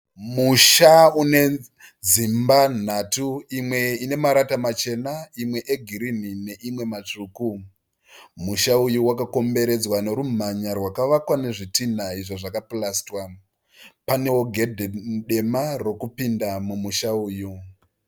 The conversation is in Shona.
Musha une dzimba nhatu. Imwe ine marata machena, imwe egirini neimwe matsvuku. Musha uyu wakakomberedzwa nerumhanya rwakavakwawo nezvitinha izvo zvakapurasitwa. Panewo gedhe dema rokupinda mumusha uyu.